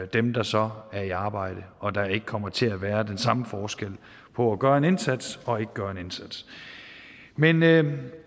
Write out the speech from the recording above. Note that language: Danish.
dem der så er i arbejde og at der ikke kommer til at være den samme forskel på at gøre en indsats og ikke at gøre en indsats men men